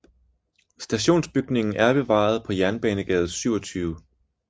Stationsbygningen er bevaret på Jernbanegade 27